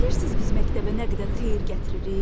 Bilirsiniz biz məktəbə nə qədər xeyir gətiririk?